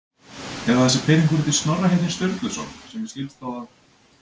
Eða þessi pirringur út í Snorra heitinn Sturluson, sem mér skilst þó að